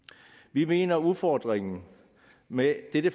vi mener at udfordringerne med dette